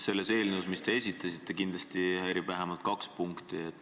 Selles eelnõus, mille te esitasite, häirib mind kindlasti vähemalt kaks punkti.